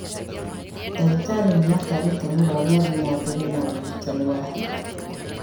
Ndagĩtarĩ nĩatarĩte mũrwaru athiĩ na mbere na ũrigitani wa higo